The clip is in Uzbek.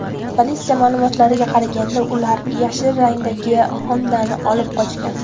Politsiya ma’lumotlariga qaraganda, ular yashil rangdagi Honda’ni olib qochgan.